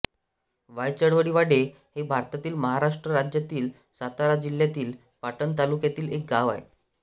वायचळवाडी हे भारतातील महाराष्ट्र राज्यातील सातारा जिल्ह्यातील पाटण तालुक्यातील एक गाव आहे